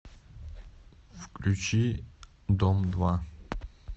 включи дом два